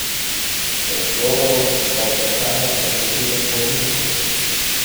Do odgovorov na ta vprašanja lahko pridem po ovinku.